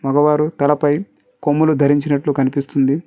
వారు తలపై కొమ్ములు ధరించినట్లు కనిపిస్తుంది.